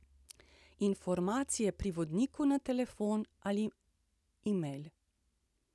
Informacije pri vodniku na telefon ali email.